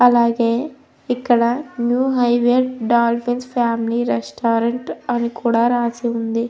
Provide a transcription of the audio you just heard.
అలాగే ఇక్కడ new highway dolphin family restaurant అని కూడా రాసి ఉంది.